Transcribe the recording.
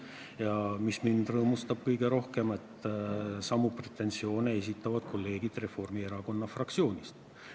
Ja mis mind rõõmustab kõige rohkem: samu pretensioone esitavad kolleegid Reformierakonna fraktsioonist.